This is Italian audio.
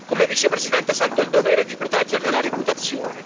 Come Vicepresidente, sento il dovere di proteggerne la reputazione